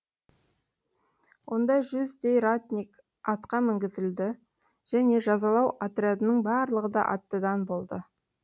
онда жүздей ратник атқа мінгізілді және жазалау отрядының барлығы да аттыдан болды